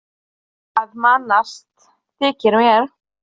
Þú ert að mannast, þykir mér.